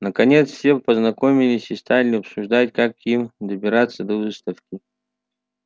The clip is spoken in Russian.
наконец все познакомились и стали обсуждать как им добираться до выставки